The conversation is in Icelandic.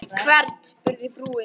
Hvern? spurði frúin.